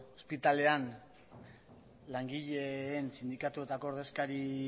ospitalean langileen sindikatuetako ordezkari